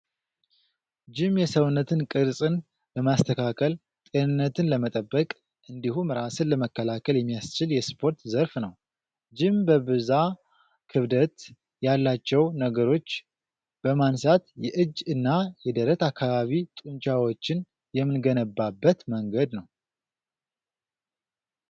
ጅም የሰውነት ቅርፅን ለማስተካከል ፣ጤንነትን ለመጠበቅ እንዲሁም ራስን ለመከላከል የሚያስችል የስፓርት ዘርፍ ነው። ጅም በብዛ ክብደት ያላቸው ነገሮች በማንሳት የእጅ እና የደረት አካባቢ ጡንጫወችን የምንገነባበት መንገድ ነው።